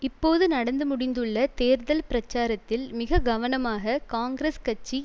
இப்போது நடந்து முடிந்துள்ள தேர்தல் பிரச்சாரத்தில் மிக கவனமாக காங்கிரஸ் கட்சி